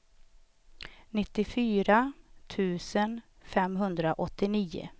nittiofyra tusen femhundraåttionio